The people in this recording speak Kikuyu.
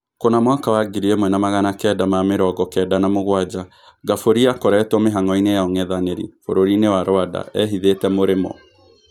Kuna mwaka wa ngiri ímwe na magana kenda ma mĩ rongo kenda na mũgwanja, Ngaburi akoretwo mĩ hang'oinĩ ya ung'ethanĩ ri bũrũri-inĩ wa Rwanda ehithĩ te Mũrĩ mo.